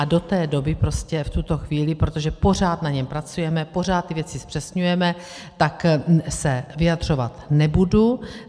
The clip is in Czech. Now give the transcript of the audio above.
A do té doby prostě, v tuto chvíli, protože pořád na něm pracujeme, pořád ty věci zpřesňujeme, tak se vyjadřovat nebudu.